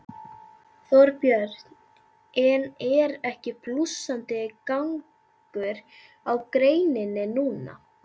Þorbjörn: En er ekki blússandi gangur á greininni núna?